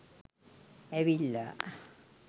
ඇවිල්ලා